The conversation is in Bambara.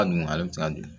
A dun ale bi se ka di